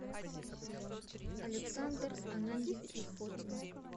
александр ананьевич фотин